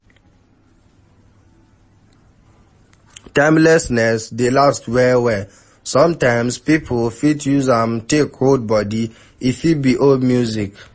Timelessness dey last well well, sometimes pipo fit use am take hold body, e fit be old music